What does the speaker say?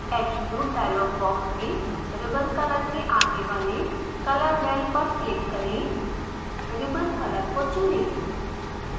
attribute dialogue box में ribbon color के आगे वाले color well पर क्लिक करें रिबन कलर को चुनें